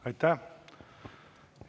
Aitäh!